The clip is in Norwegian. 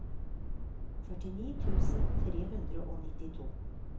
førtini tusen tre hundre og nittito